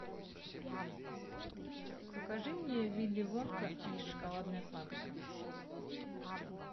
покажи мне вилли вонка и шоколадная фабрика